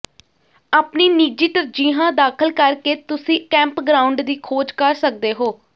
ਆਪਣੀ ਨਿੱਜੀ ਤਰਜੀਹਾਂ ਦਾਖਲ ਕਰਕੇ ਤੁਸੀਂ ਕੈਂਪਗ੍ਰਾਉਂਡ ਦੀ ਖੋਜ ਕਰ ਸਕਦੇ ਹੋ